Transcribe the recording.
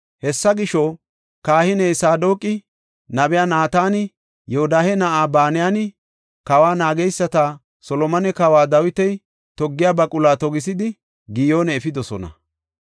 Hessa gisho, kahiney Saadoqi, nabey Naatani, Yoodahe na7ay Banayinne kawa naageysati Solomone Kawoy Dawiti toggiya baquluwa togisidi, Giyoone efidosona.